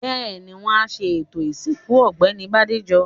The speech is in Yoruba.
Bẹ́ẹ̀ni, wọ́n á ṣe ètò ìsìnkú Ọ̀gbẹ́ni Bádéjọ.